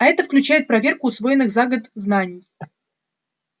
а это включает проверку усвоенных за год знаний